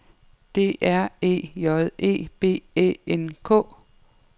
D R E J E B Æ N K